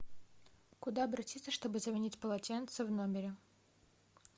куда обратиться чтобы заменить полотенце в номере